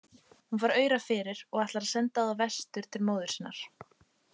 Hún fær aura fyrir og ætlar að senda þá vestur til móður sinnar.